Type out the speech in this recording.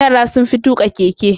Yara sun fi tuka keke.